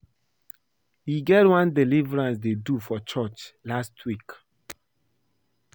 E get one deliverance dey do for church last week